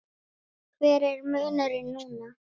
Hver er munurinn núna?